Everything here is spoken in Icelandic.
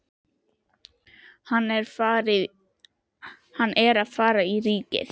Hann er að fara í Ríkið!